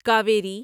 Kaveri